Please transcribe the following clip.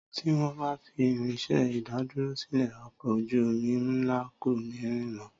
Tí wọn bá fi Irinsé ìdádúró sílè ọkọ̀ ojú omi ńlá kò ní rìn mọ